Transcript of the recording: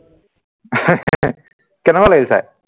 কেনেকুৱা লাগিল চাই